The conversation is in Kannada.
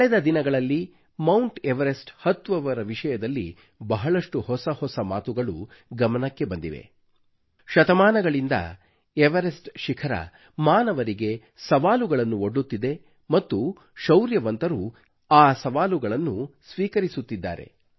ಕಳೆದ ದಿನಗಳಲ್ಲಿ ಮೌಂಟ್ ಎವರೆಸ್ಟ್ ಹತ್ತುವವರ ವಿಷಯದಲ್ಲಿ ಬಹಳಷ್ಟು ಹೊಸ ಹೊಸ ಮಾತುಗಳು ಗಮನಕ್ಕೆ ಬಂದಿವೆ ಶತಮಾನಗಳಿಂದ ಎವರೆಸ್ಟ್ ಶಿಖರವು ಮಾನವರಿಗೆ ಸವಾಲುಗಳನ್ನು ಒಡ್ಡುತ್ತಿದೆ ಮತ್ತು ಶೌರ್ಯವಂತರು ಆ ಸವಾಲುಗಳನ್ನು ಸ್ವೀಕರಿಸುತ್ತಿದ್ದಾರೆ